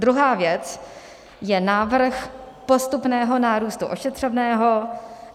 Druhá věc je návrh postupného nárůstu ošetřovného.